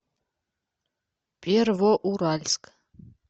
первоуральск